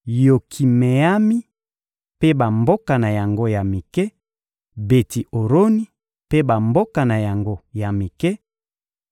Yokimeami mpe bamboka na yango ya mike, Beti-Oroni mpe bamboka na yango ya mike,